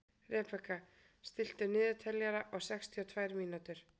Rebekka, stilltu niðurteljara á sextíu og tvær mínútur.